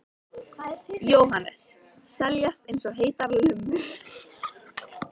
Jóhannes: Seljast eins og heitar lummur?